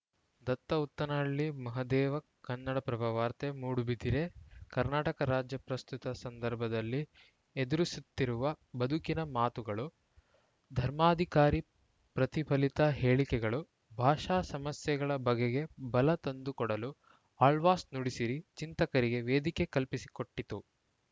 ದತ್ತ ಉತ್ತನಹಳ್ಳಿ ಮಹದೇವ ಕನ್ನಡಪ್ರಭ ವಾರ್ತೆ ಮೂಡುಬಿದಿರೆ ಕರ್ನಾಟಕ ರಾಜ್ಯ ಪ್ರಸ್ತುತ ಸಂದರ್ಭದಲ್ಲಿ ಎದುರಿಸುತ್ತಿರುವ ಬದುಕಿನ ಮಾತುಗಳು ಧರ್ಮಾಧಿಕಾರಿ ಪ್ರತಿಫಲಿತ ಹೇಳಿಕೆಗಳು ಭಾಷಾ ಸಮಸ್ಯೆಗಳ ಬಗೆಗೆ ಬಲ ತಂದುಕೊಡಲು ಆಳ್ವಾಸ್‌ ನುಡಿಸಿರಿ ಚಿಂತಕರಿಗೆ ವೇದಿಕೆ ಕಲ್ಪಿಸಿಕೊಟ್ಟಿತು